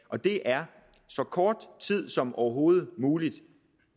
og det er så kort tid som overhovedet muligt